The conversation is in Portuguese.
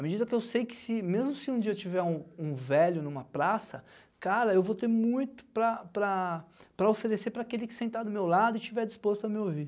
À medida que eu sei que, mesmo se um dia eu tiver um um velho numa praça, cara, eu vou ter muito para para para oferecer para aquele que sentar do meu lado e estiver disposto a me ouvir.